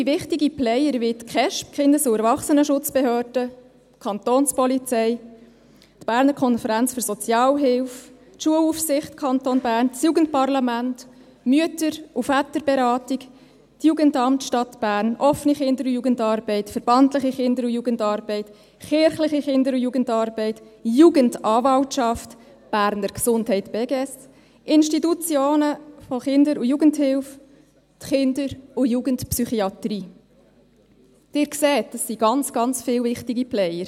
Weitere wichtige Player wie die Kindes- und Erwachsenenschutzbehörden (KESB), die Kapo, die Berner Konferenz für Sozialhilfe, Kindes- und Erwachsenenschutz (BKSE), die Schulaufsicht des Kantons Bern, das Jugendparlament, die Mütter- und Väterberatung, das Jugendamt der Stadt Bern, die Offene Kinder- und Jugendarbeit (Okja), die verbandliche Kinder- und Jugendarbeit, die kirchliche Kinder- und Jugendarbeit, die Jugendanwaltschaft, die Berner Gesundheit (Beges), Institutionen der Kinder- und Jugendhilfe, die Kinder- und Jugendpsychiatrie – Sie sehen, es sind ganz viele wichtige Player.